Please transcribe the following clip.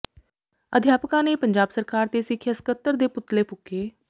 ਅਧਿਆਪਕਾਂ ਨੇ ਪੰਜਾਬ ਸਰਕਾਰ ਤੇ ਸਿੱਖਿਆ ਸਕੱਤਰ ਦੇ ਪੁਤਲੇ ਫ਼ੂਕੇ